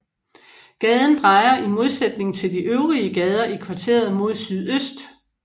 Gaden drejer i modsætning til de øvrige gader i kvarteret mod sydøst